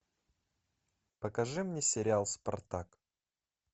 покажи мне сериал спартак